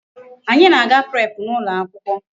Anyị na-aga prep n'ụlọ akwụkwọ.